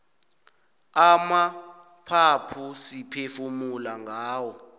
amaphaphu siphefumula ngawo